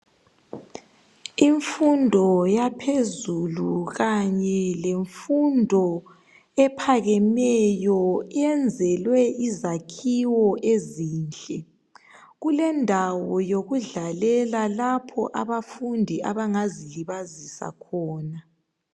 Imfundo yaphezulu kanye lemfundo ephakemeyo iyenzelwe izakhiwo ezinhle. Kulendawo yokudlalela lapho abafundi abangazi libazisa khona